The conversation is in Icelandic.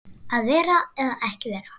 Að vera eða ekki vera?